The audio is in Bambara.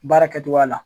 Baara kɛcogoya la